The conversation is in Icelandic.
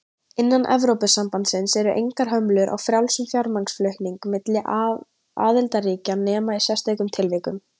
Innan Evrópusambandsins eru engar hömlur á frjálsum fjármagnsflutningum milli aðildarríkja nema í sérstökum tilvikum.